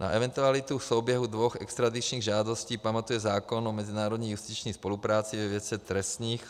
Na eventualitu souběhu dvou extradičních žádostí pamatuje zákon o mezinárodní justiční spolupráci ve věci trestních.